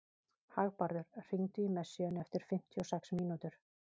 Hagbarður, hringdu í Messíönu eftir fimmtíu og sex mínútur.